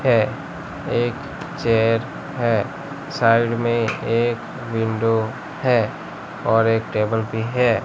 है एक चेयर है साइड में एक विंडो है और एक टेबल भी है।